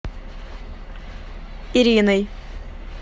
ириной